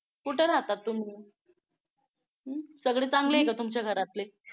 कुठं राहता तुम्ही? अं सगळे चांगले आहे का तुमच्या घरातले?